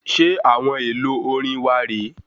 Ṣe àwọn èlò orin wà re é